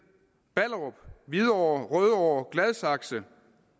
ballerup hvidovre rødovre gladsaxe